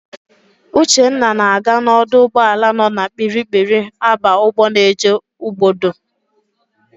Uchenna na-aga n'ọdụ ụgbọala nọ na Kpiri-kpiri aba ụgbọ na-eje Ugbodo.